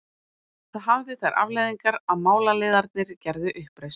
Það hafði þær afleiðingar að málaliðarnir gerðu uppreisn.